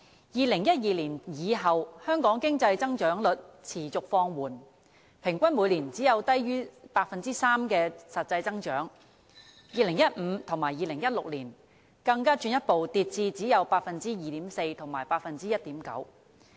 2012年以後，香港經濟增長率持續放緩，平均每年只有低於 3% 的實際增長 ，2015 年和2016年更進一步跌至只有 2.4% 和 1.9%。